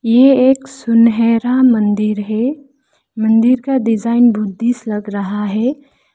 ये एक सुनहरा मंदिर है मंदिर का डिजाइन बुद्धिस्ट लग रहा है।